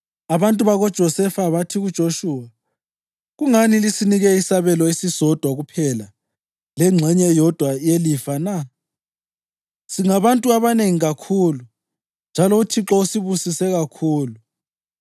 Abantu bakoJosefa bathi kuJoshuwa, “Kungani lisinike isabelo esisodwa kuphela lengxenye eyodwa yelifa na? Singabantu abanengi kakhulu njalo uThixo usibusise kakhulu.”